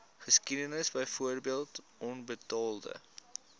geskiedenis byvoorbeeld onbetaalde